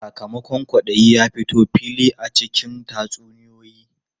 Sakamakon kwaɗayi ya fito fili a cikin tatsuniyoyi.